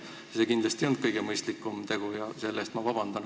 See ei olnud kindlasti kõige mõistlikum tegu, selle eest ma palun vabandust.